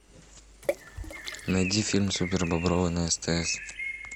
найди фильм супербобровы на стс